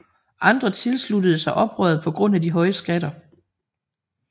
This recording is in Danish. Andre tilsluttede sig oprøret på grund af de høje skatter